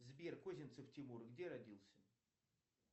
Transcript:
сбер козинцев тимур где родился